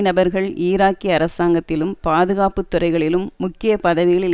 நபர்கள் ஈராக்கிய அரசாங்கத்திலும் பாதுகாப்பு துறைகளிலும் முக்கிய பதவிகளில்